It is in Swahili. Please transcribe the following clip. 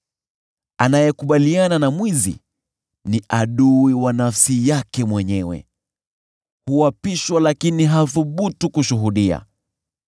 Anayekubaliana na mwizi ni adui wa nafsi yake mwenyewe; huapishwa lakini hathubutu kushuhudia.